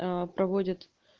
проводят